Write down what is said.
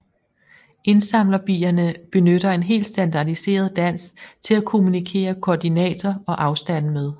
Indsamlerbierne benytter en helt standardiseret dans til at kommunikere koordinater og afstande med